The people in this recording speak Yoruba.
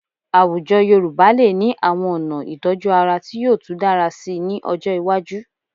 Àwùjọ Yorùbá lè ní àwọn ọ̀nà ìtọ́jú ara tí yóò tú dára síi ní ọjọ́ iwájú